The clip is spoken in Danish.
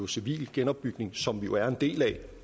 civil genopbygning som danmark jo er en del af